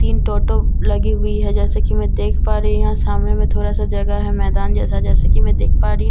तीन टोटो लगी हुए हैं जैसा कि मैं देख पा रही हूं यहां सामने में थोड़ा सा जगह है मैदान जैसा जैसा कि मैं देख पा रही हूं--